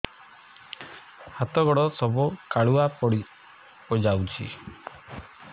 ହାତ ଗୋଡ ସବୁ କାଲୁଆ ପଡି ଯାଉଛି